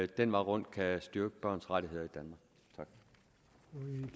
den vej rundt kan styrke børns rettigheder